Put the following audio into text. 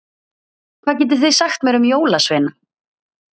Hvað getið þið sagt mér um jólasveina?